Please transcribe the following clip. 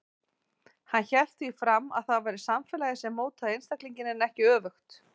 Hann hélt því fram að það væri samfélagið sem mótaði einstaklinginn en ekki öfugt.